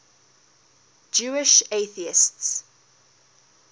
jewish atheists